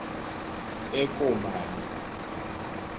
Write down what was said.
ekomane